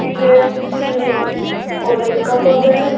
यह किसी कॉलेज का फोटो है।